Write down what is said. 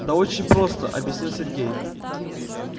да очень просто объяснил сергей